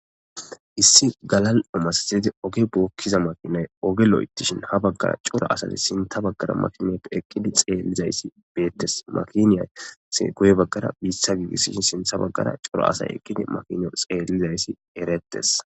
Issi galalo masatidi oge bokiza oge loythishin ha bagara cora asati bagara eqidi xelizys betes makin sinthe guye baga bita gigisishe sintha bagara eqidi sinthara cora asati